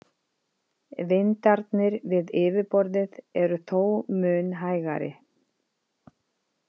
Vindarnir við yfirborðið eru þó mun hægari.